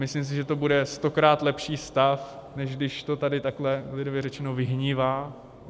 Myslím si, že to bude stokrát lepší stav, než když to tady takhle lidově řečeno vyhnívá.